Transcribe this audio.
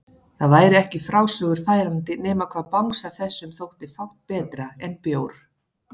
Það væri ekki í frásögur færandi nema hvað bangsa þessum þótti fátt betra en bjór!